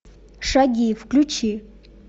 шаги включи